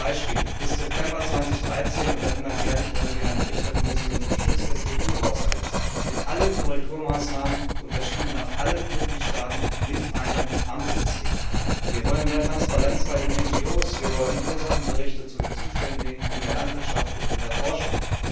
Beispiele Bis September 2013 und dann immer jährlich wollen wir einen Bericht der Kommission zum Schutz des EU Haushalts mit allen Korrekturmaßnahmen, unterschieden nach allen Mitgliedstaaten mit einem Ampelsystem. Wir wollen mehr Transparenz bei den NGO, wir wollen Ursachenberichte zu den Zuständen in der Landwirtschaft und in der Forschung.